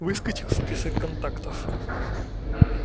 выскочил список контактов